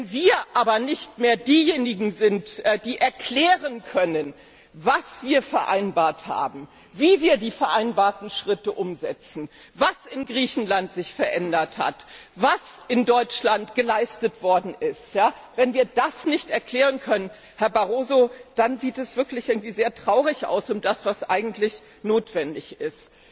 Wenn wir aber nicht mehr diejenigen sind, die erklären können, was wir vereinbart haben, wie wir die vereinbarten Schritte umsetzen, was sich in Griechenland verändert hat, was in Deutschland geleistet worden ist wenn wir das nicht erklären können, Herr Barroso, dann sieht es wirklich sehr traurig aus um das, was eigentlich notwendig ist.